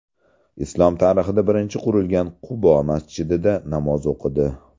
Islom tarixida birinchi qurilgan ‘Qubo‘ masjidida namoz o‘qidi.